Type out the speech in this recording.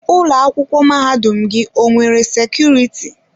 Ụlọ akwụkwọ mahadum gị o nwere sekuriti?